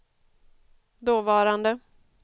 dåvarande